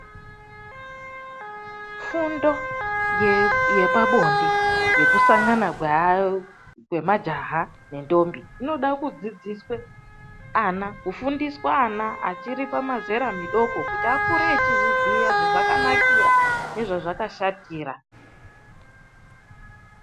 Fundo yepabonde yekusangana kwemajaha nendombi inode kufundiswa ana achiri pamizera midoko kuti vakure veiziya zvazvakanakira nezvazvakashatira